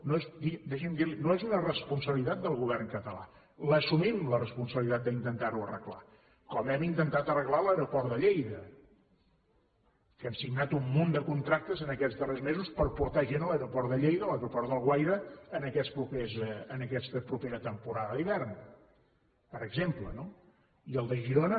deixi’m dir li ho no és una responsabilitat del govern català l’assumim la responsabilitat d’intentar ho arreglar com hem intentat arreglar l’aeroport de lleida que hem signat un munt de contractes en aquests darrers mesos per portar gent a l’aeroport de lleida a l’aeroport d’alguaire en aquesta propera temporada d’hivern per exemple no i el de girona